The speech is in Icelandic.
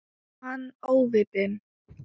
Er hann óviti?